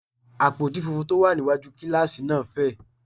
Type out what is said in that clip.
Àpótí funfun tó wà níwájú kíláàsì náà fẹ̀